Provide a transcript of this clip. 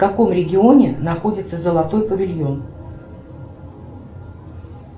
в каком регионе находится золотой павильон